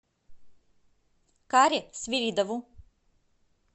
каре свиридову